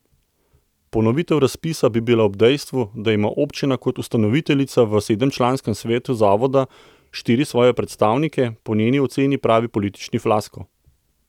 Ponovitev razpisa bi bila ob dejstvu, da ima občina kot ustanoviteljica v sedemčlanskem svetu zavoda štiri svoje predstavnike, po njeni oceni pravi politični fiasko.